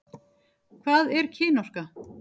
Hvað er kynorka?